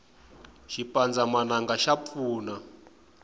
xipandzamananga xa pfuna